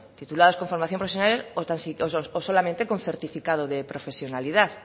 titulados con formación profesional o solamente con certificado de profesionalidad